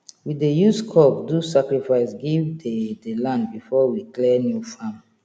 we dey use cock do sacrifice give the the land before we clear new farm